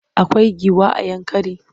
Akwai giwa a Yankari?